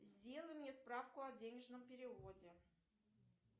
сделай мне справку о денежном переводе